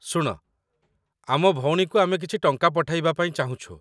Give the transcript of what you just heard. ଶୁଣ, ଆମ ଭଉଣୀକୁ ଆମେ କିଛି ଟଙ୍କା ପଠାଇବା ପାଇଁ ଚାହୁଁଛୁ